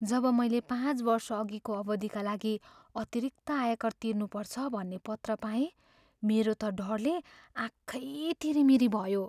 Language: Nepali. जब मैले पाँच वर्षअघिको अवधिका लागि अतिरिक्त आयकर तिर्नुपर्छ भन्ने पत्र पाएँ, मेरो त डरले आँखै तिरिमिरी भयो।